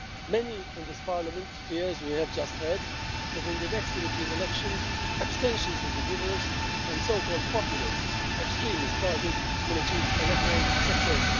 Many in this parliament fear, as we have just heard, that in the next European elections abstentions will be numerous and so-called populist extremist parties will achieve a record success.